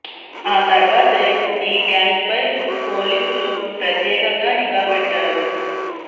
ఆ తర్వాతే ఈ గ్యాంగ్ పై పోలీసులు ప్రత్యేకంగా నిఘా పెట్టారు